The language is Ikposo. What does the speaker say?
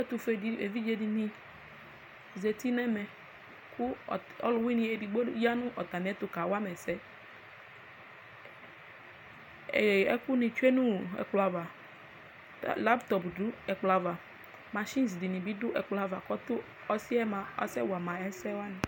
Ɛtʋfue evidze dini zeti nʋ ɛmɛ kʋ ɔlʋwini edigbo yanʋ atami ɛtʋ kawama ɛsɛ ɛkʋni tsue nʋ ɛkplɔ ava laptɔo dʋ ɛkplɔ ava mashins bi dʋ ɛkplɔ ava kʋ ɔsi yɛ mʋa asɛwama ɛsɛ wani